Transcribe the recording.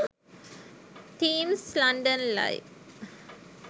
themes london live